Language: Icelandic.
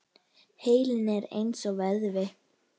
Heilinn er eins og vöðvi.